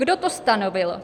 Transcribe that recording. Kdo to stanovil?